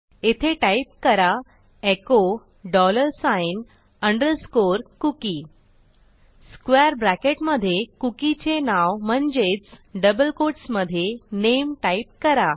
येथे टाईप करा echo dollar sign underscore cookie square ब्रॅकेटमधे cookieचे नाव म्हणजेच डबल कोटसमधे नामे टाईप करा